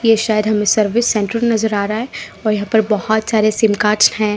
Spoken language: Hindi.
ये शायद हमें सर्विस सेंटर नजर आ रहा है और यहाँ पर बहुत सारे सिम कार्ड्स हैं।